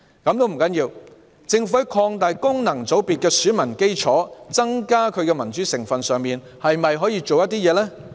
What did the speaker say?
這也不要緊，政府在擴大功能界別的選民基礎，增加其民主成分方面，可否做一些工夫？